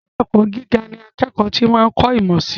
Ilé - ẹ̀kọ́ gíga ní akẹ́kọ̀ọ́ ti ń kọ̀ ìmọ̀ sii